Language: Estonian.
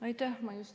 Aitäh!